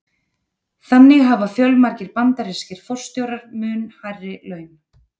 Þannig hafa fjölmargir bandarískir forstjórar mun hærri laun.